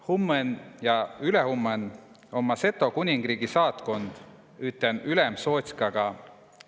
Hummõn ja ülehummõn om Riigikogon Seto kuningriigi saatkund üten ülemsootskaga.